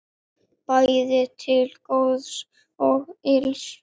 Bæði til góðs og ills.